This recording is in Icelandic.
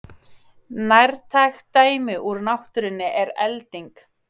Nærtækt dæmi úr náttúrunni er elding.